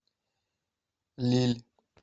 лилль